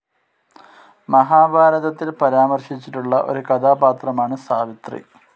മഹാഭാരതത്തിൽ പരാമർശിച്ചിട്ടുള്ള ഒരു കഥാപാത്രമാണ് സാവിത്രി.